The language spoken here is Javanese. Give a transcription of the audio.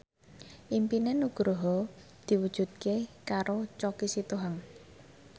impine Nugroho diwujudke karo Choky Sitohang